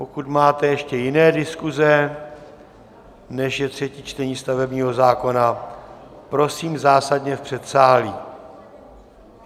Pokud máte ještě jiné diskuze, než je třetí čtení stavebního zákona, prosím zásadně v předsálí.